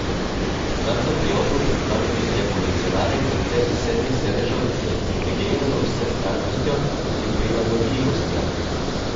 Takrat so pri Oplu predstavili revolucionaren koncept sedmih sedežev z integrirano vsestranskostjo in prilagodljivostjo.